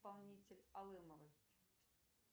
исполнитель алымовой